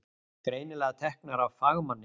Greinilega teknar af fagmanni.